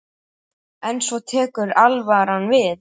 En svo tekur alvaran við.